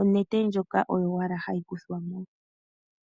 onete ndjoka oyo owala hayi kuthwa mo.